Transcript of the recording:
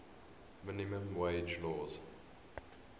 minimum wage laws